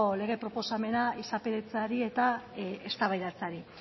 lege proposamena izapidetzeari eta eztabaidatzeari